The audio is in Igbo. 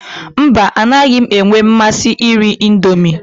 Mba, anaghị m enwe mmasị iri Indomi.